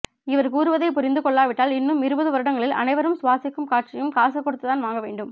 இவர் கூறுவதை புரிந்து கொள்ளாவிட்டால் இன்னும் இருபது வருடங்களில் அனைவரும் சுவாசிக்கும் காற்றையும் காசு கொடுத்து தான் வாங்க வேண்டும்